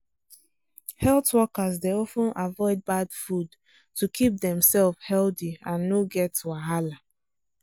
health workers dey of ten avoid bad food to keep demself healthy and no get wahala.